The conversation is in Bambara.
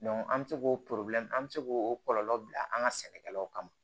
an bɛ se k'o an bɛ se k'o kɔlɔlɔ bila an ka sɛnɛkɛlaw kama